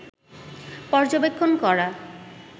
পর্যবেক্ষণ করা